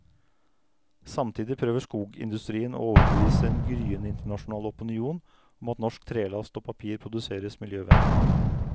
Samtidig prøver skogindustrien å overbevise en gryende internasjonal opinion om at norsk trelast og papir produseres miljøvennlig.